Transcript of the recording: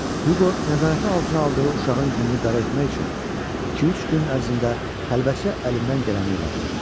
Huqo nəzarəti altına aldığı uşağın gününü qara etmək üçün iki-üç gün ərzində xəlvətcə əlindən gələni elədi.